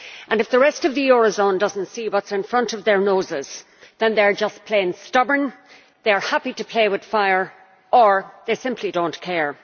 If the rest of the eurozone does not see what is in front of their noses, then they are just plain stubborn, they are happy to play with fire or they simply do not care.